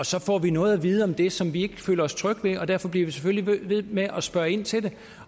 så får vi noget at vide om det som vi ikke føler os trygge ved og derfor bliver vi selvfølgelig ved med at spørge ind til